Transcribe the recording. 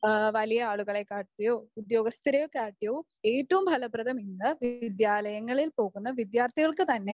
വലിയ ആളുകളെ കാട്ടിയും ഉദ്യോഗസ്ഥരെ കാട്ടിയും ഏറ്റവും ഫലപ്രദം ഇന്ന് വിദ്യാലയങ്ങളിൽ പോകുന്ന വിദ്യാർഥികൾക്ക് തന്നെയാണ്.